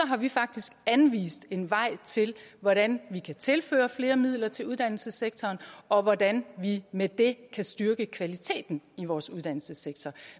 har vi faktisk anvist en vej til hvordan vi kan tilføre flere midler til uddannelsessektoren og hvordan vi med det kan styrke kvaliteten i vores uddannelsessektor